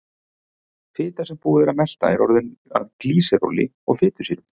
Fita sem búið er að melta er orðin að glýseróli og fitusýrum.